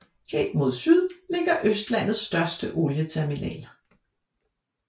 Helt mod syd ligger Østlandets største olieterminal